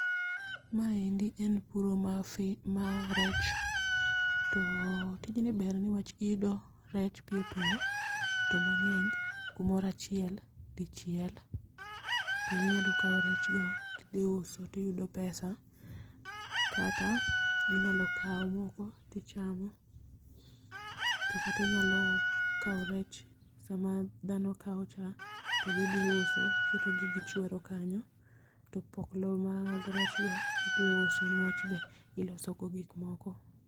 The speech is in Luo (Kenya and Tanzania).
Maendi en puro mar fi mar rech. To tijni ber niwach iyudo rech piyo piyo, to mang'eny, kumoro achiel, dichiel. Kendo inyalo kawo rechgo tidhi uso tiyudo pesa, kata inyalo kawo moko tichamo to kata inyalo kawo rech sama dhano kawo cha, to gidhi uso, tiketogi, gichwero kanyo . To opoklo mag rechgo idhi uso niwach be ilosogo gik moko.